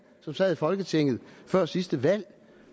som sad i folketinget før sidste valg